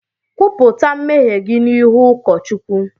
Kwupụta mmehie gị n’ihu ụ̣kọ̣̣ Chukwu!